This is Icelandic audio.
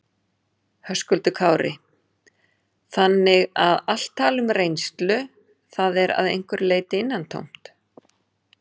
Höskuldur Kári: Þannig að allt tal um reynslu, það er að einhverju leyti innantómt?